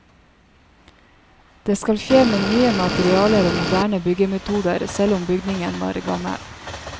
Det skal skje med nye materialer og moderne byggemetoder selv om bygningen var gammel.